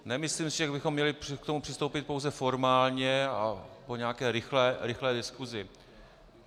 Nemyslím si, že bychom měli k tomu přistoupit pouze formálně a po nějaké rychlé diskusi.